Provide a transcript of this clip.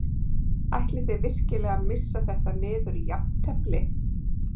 Ætlið þið virkilega að missa þetta niður í jafntefli?